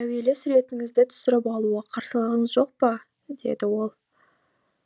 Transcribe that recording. әуелі суретіңізді түсіріп алуға қарсылығыңыз жоқ па деді ол